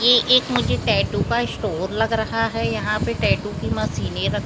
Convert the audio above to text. यह एक मुझे एक टैटू का स्टोर लग रहा है यहा पे टैटू की मशीने रखी हुई --